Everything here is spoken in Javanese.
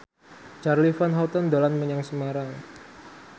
Charly Van Houten dolan menyang Semarang